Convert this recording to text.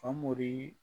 Famori